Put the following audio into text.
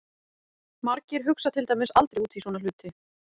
Margir hugsa til dæmis aldrei út í svona hluti!